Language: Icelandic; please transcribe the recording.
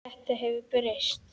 Þetta hefur breyst.